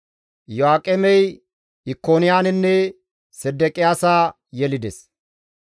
Iyo7aaqemey Ikoniyaanenne Sedeqiyaasa yelides.